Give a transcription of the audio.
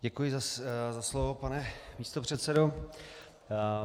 Děkuji za slovo, pane místopředsedo.